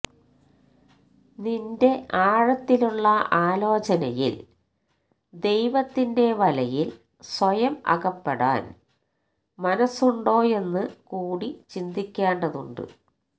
നിന്റെ ആഴത്തിലുള്ള ആലോചനയിൽ ദൈവത്തിന്റെ വലയിൽ സ്വയം അകപ്പെടാൻ മനസ്സുണ്ടോയെന്നു കൂടി ചിന്തിക്കേണ്ടതുണ്ട്